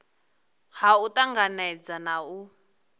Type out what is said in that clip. ha u tanganedza na u